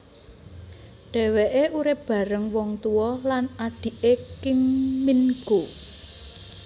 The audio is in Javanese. Dheweke urip bareng wong tua lan adhike Kim Min goo